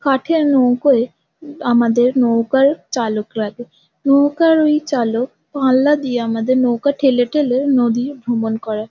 কাঠের নৌকোয় আমাদের নৌকার চালক লাগে নৌকার ওই চালক পাল্লা দিয়ে আমাদের নৌকা ঠেলে ঠেলে নদী ভ্রমণ করে।